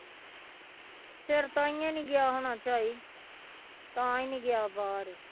ਫਿਰ ਤਾਂਹਿਓ ਨੀ ਗਿਆ ਹੋਣਾ ਝਾਈ ਤਾਂ ਹੀ ਨੀ ਗਿਆ ਬਾਹਰ।